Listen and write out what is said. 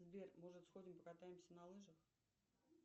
сбер может сходим покатаемся на лыжах